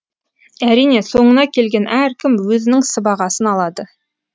әрине соңына келген әркім өзінің сыбағасын алады